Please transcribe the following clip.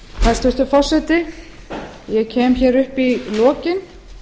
hæstvirtur forseti ég kem hér upp í lokin